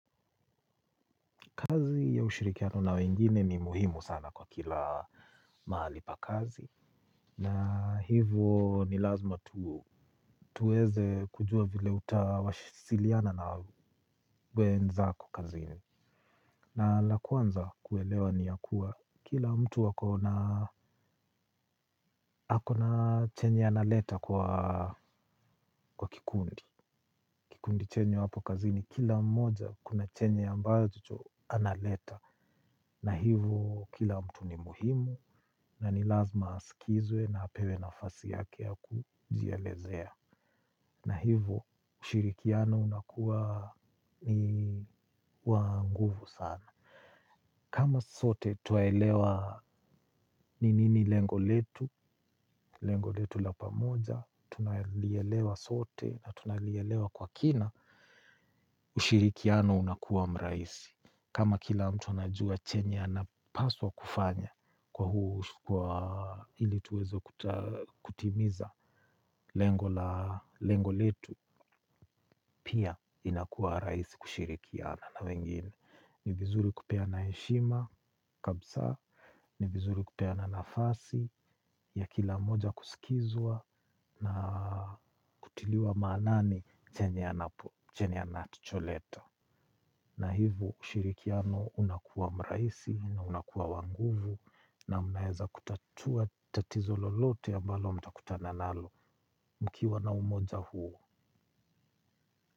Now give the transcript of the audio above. Kazi ya ushirikiano na wengine ni muhimu sana kwa kila mahali pa kazi. Na hivyo, ni lazima tuweze kujua vile utawasiliana na wenzako kazini. Na la kwanza kuelewa ni ya kuwa kila mtu ako na ako na chenye analeta kwa kikundi. Kikundi chenye wapo kazini kila mmoja kuna chenye ambacho analeta. Na hivo kila mtu ni muhimu na ni lazima asikizwe na apewe nafasi yake ya kujielezea. Na hivo ushirikiano unakuwa ni wa nguvu sana. Kama sote twaelewa ni nini lengo letu, lengo letu la pamoja tunalielewa sote na tunalielewa kwa kina. Ushirikiano unakuwa mraisi. Kama kila mtu anajua chenye anapaswa kufanya kwa huu kwa ili tuweze kutimiza, lengo letu pia inakuwa rahisi kushirikiana na wengine. Ni vizuri kupeana heshima kabisa, ni vizuri kupeana nafasi ya kila moja kusikizwa kutiliwa maanani chenye anacholeta. Na hivyo, ushirikiano unakuwa mrahisi na unakuwa wa nguvu na mnaweza kutatua tatizo lolote ambalo mtakutana nalo mkiwa na umoja huo.